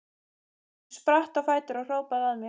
Hún spratt á fætur og hrópaði að mér: